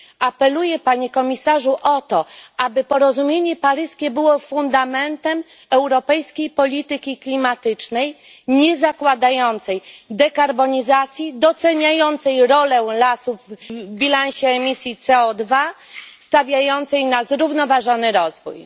Apeluję, Panie Komisarzu, o to, aby porozumienie paryskie było fundamentem europejskiej polityki klimatycznej niezakładającej dekarbonizacji, doceniającej rolę lasów w bilansie emisji CO2 i stawiającej na zrównoważony rozwój.